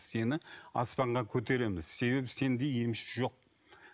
сені аспанға көтереміз себебі сендей емші жоқ